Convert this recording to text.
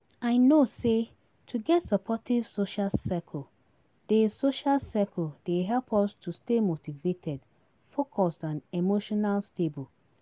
I know say to get supportive social circle dey social circle dey help us to stay motivated, focused and emotional stable.